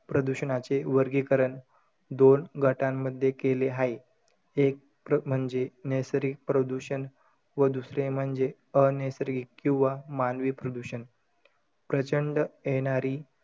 प्रदूषणाचे वर्गीकरण दोन गटामध्ये केले हाये. एक म्हणजे, नैसर्गिक प्रदूषण व दुसरे म्हणजे अनैसर्गिक किंवा मानवी प्रदूषण. प्रचंड येणारी,